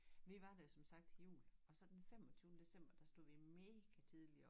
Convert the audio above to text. Vi var der jo som sagt til jul og så den femogtyvende december der stod vi mega tidligt op